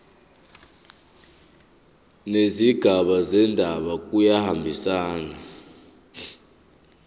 nezigaba zendaba kuyahambisana